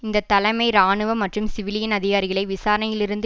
இந்த தலைமை இராணுவ மற்றும் சிவிலியன் அதிகாரிகளை விசாரணையிலிருந்து